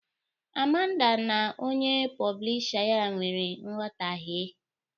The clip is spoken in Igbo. Amanda na onye poblisha ya nwere nghọtahe